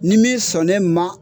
Ni min sɔnn'e ma